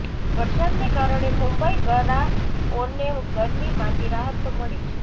વરસાદને કારણે મુંબઈગરાઓને ગરમીમાંથી રાહત તો મળી છે